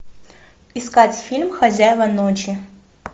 искать фильм хозяева ночи